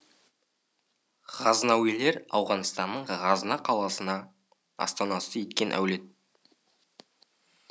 ғазнауилер ауғанстанның ғазна қаласын астанасы еткен әулет